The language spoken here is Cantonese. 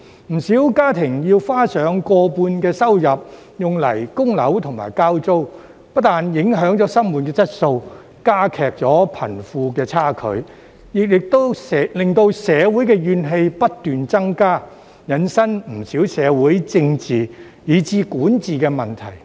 不少家庭要花上過半收入用作供樓或交租，不但影響生活質素，加劇貧富差距，亦令社會怨氣不斷增加，引申不少社會、政治以至管治的問題。